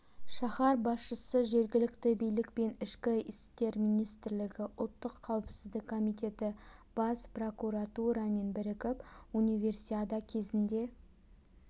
шаһар басшысы жергілікті билік пен ішкі істер министрлігі ұлттық қауіпсіздік комитеті бас прокуратурамен бірігіп универсиада кезінде